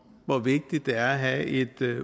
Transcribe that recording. hvor vigtigt det er at have et